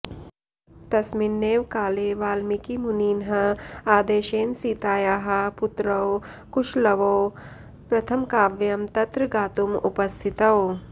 तस्मिन्नेव काले वाल्मीकिमुनिनः आदेशेन सीतायाः पुत्रौ कुशलवौ प्रथमकाव्यं तत्र गातुम् उपस्थितौ